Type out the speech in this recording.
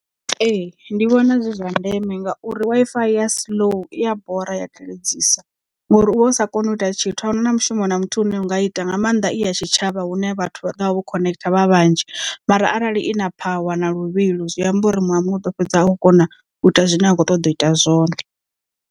Ee ndi vhona zwi zwa ndeme ngauri Wi-Fi ya slow iya bora iya teledzisa ngori uvha u sa koni u ita tshithu ahuna na mushumo na muthihi une wanga u ita nga maanḓa i ya tshitshavha hune vhathu vhaḓo vha vho khonekhitha vha vhanzhi mara arali i na phawa na luvhilo zwi amba uri muṅwe na muṅwe u ḓo fhedza a khou kona u ita zwine a khou ṱoḓa u ita zwone.